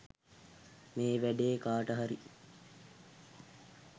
මේ වැඩේ කාට හරි